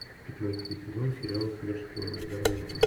пятнадцатый сезон сериала смерть шпионам ударная волна